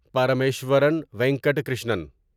Parameswaran Venkata Krishnan